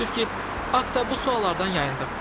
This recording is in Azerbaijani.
Təəssüf ki, Akta bu suallardan yayındı.